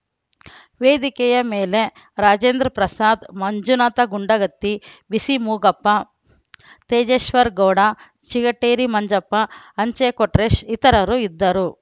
ವೇದಿಕೆಯ ಮೇಲೆ ರಾಜೇಂದ್ರ ಪ್ರಸಾದ್‌ ಮಂಜುನಾಥ ಗುಂಡಗತ್ತಿ ಬಿಸಿ ಮೂಗಪ್ಪ ತೇಜಶ್ವೇರ ಗೌಡ ಚಿಗಟೇರಿ ಮಂಜಪ್ಪ ಅಂಚೆ ಕೊಟ್ರೇಶ್‌ ಇತರರು ಇದ್ದರು